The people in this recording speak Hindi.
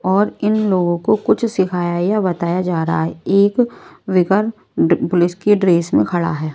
और इन लोगों को कुछ सिखाया या बताया जा रहा है एक विकर पुलिस की ड्रेस में खड़ा है।